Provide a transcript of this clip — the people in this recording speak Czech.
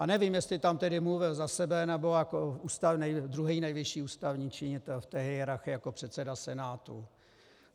A nevím, jestli tam tedy mluvil za sebe, nebo jako druhý nejvyšší ústavní činitel v té hierarchii, jako předseda Senátu.